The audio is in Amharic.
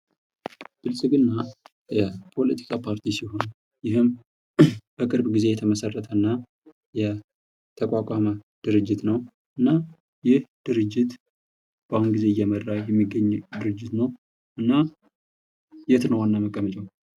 ብልጽግና የፖለቲካ ፓርቲ ሲሆን ይህም በቅርብ ጊዜ የተመሰረተ እና የተቋቋመ ድርጅት ነው። እና ይሄ ድርጅት በአሁን ጊዜ እየመራ የሚገኝ ድርጅት ነው ።እና የት ነው ዋና መቀመጫው?